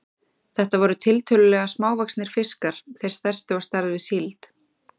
Þetta voru tiltölulega smávaxnir fiskar, þeir stærstu á stærð við síld.